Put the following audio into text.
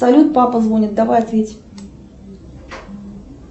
салют папа звонит давай ответь